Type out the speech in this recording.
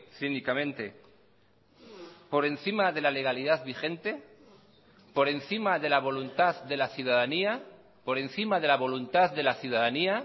cínicamente por encima de la legalidad vigente por encima de la voluntad de la ciudadanía por encima de la voluntad de la ciudadanía